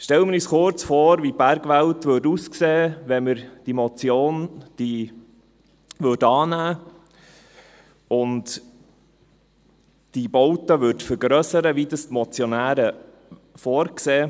Stellen wir uns kurz vor, wie die Bergwelt aussehen würde, wenn wir diese Motion annehmen und diese Bauten vergrössern würden, wie es die Motionäre vorsehen.